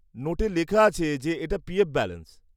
নোটে লেখা আছে যে এটা পিএফ ব্যালান্স।